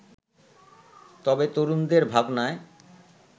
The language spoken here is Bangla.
তবে তরুণদের ভাবনায়